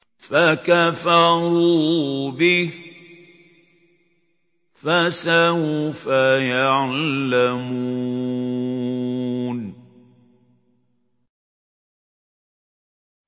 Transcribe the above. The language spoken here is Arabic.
فَكَفَرُوا بِهِ ۖ فَسَوْفَ يَعْلَمُونَ